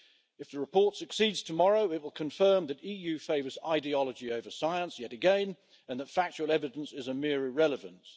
If the report succeeds tomorrow it will confirm that the EU favours ideology over science yet again, and that factual evidence is a mere irrelevance.